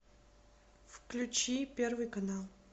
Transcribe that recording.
включи первый канал